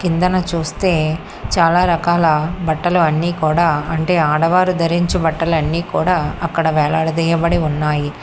కిందన చూస్తే చాలా రకాల బట్టలు అన్నీ కూడా అంటే ఆడవారు ధరించు బట్టలు అన్నీ కూడా అక్కడ వేలాడదీయబడి ఉన్నాయి.